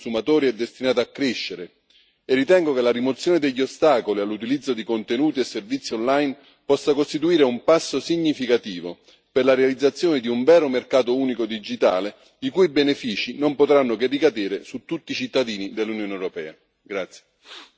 La domanda di portabilità transfrontaliera da parte dei consumatori è destinata a crescere e ritengo che la rimozione degli ostacoli all'utilizzo di contenuti e servizi online possa costituire un passo significativo per la realizzazione di un vero mercato unico digitale, i cui benefici non potranno che ricadere su tutti i cittadini dell'Unione europea.